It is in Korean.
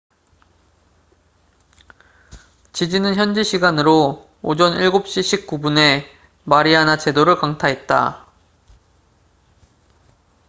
지진은 현지 시간으로 오전 7시 19분 금요일 gmt 오후 9시 19분에 마리아나 제도를 강타했다